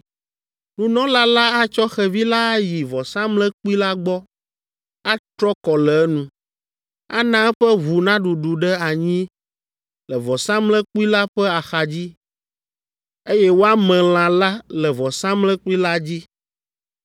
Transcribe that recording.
Nunɔla la atsɔ xevi la ayi vɔsamlekpui la gbɔ, atro kɔ le enu, ana eƒe ʋu naɖuɖu ɖe anyi le vɔsamlekpui la ƒe axadzi, eye woame lã la le vɔsamlekpui la dzi.